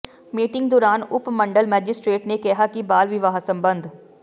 meeting ਦੌਰਾਨ ਉਪ ਮੰਡਲ ਮੈਜਿਸਟ੍ਰੇਟ ਨੇ ਕਿਹਾ ਕਿ ਬਾਲ ਵਿਆਹ ਸਬੰਧ